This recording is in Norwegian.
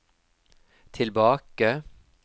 tilbake